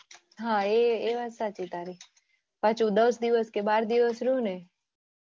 હા એ એ વાત સાચી તારી પાછું દસ દિવસ બાર દિવસ રહીયુ ને.